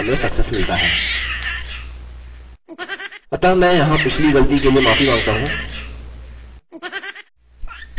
अतः मैं यहाँ पिछली गलती के लिए माफी माँगता हूँ